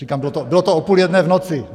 Říkám, bylo to o půl jedné v noci.